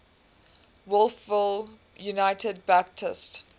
wolfville united baptist